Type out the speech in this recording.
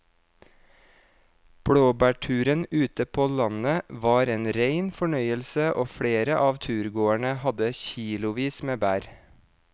Blåbærturen ute på landet var en rein fornøyelse og flere av turgåerene hadde kilosvis med bær.